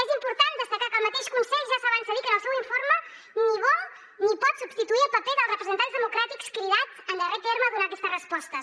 és important destacar que el mateix consell ja s’avança a dir que en el seu informe ni vol ni pot substituir el paper dels representants democràtics cridats en darrer terme a donar aquestes respostes